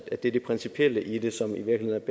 at det er det principielle i det som i virkeligheden